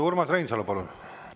Urmas Reinsalu, palun!